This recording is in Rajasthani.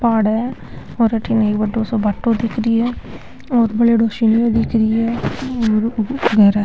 पहाड़ है और अठीने एक बड़ो सो भाटो दिख री है और बल्योड़ो सिन्यो दिख री है घर है।